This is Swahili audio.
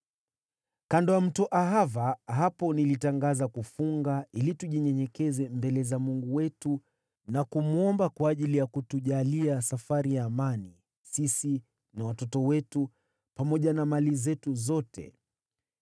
Kando ya Mto Ahava, hapo nilitangaza kufunga, ili tujinyenyekeshe mbele za Mungu wetu na kumwomba kwa ajili ya kutujalia safari ya amani sisi na watoto wetu, pamoja na mali zetu zote.